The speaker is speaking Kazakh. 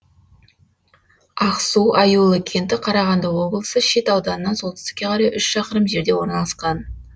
ақсу аюлы кенті қарағанды облысы шет ауданынан солтүстікке қарай үш шақырым жерде орналасқан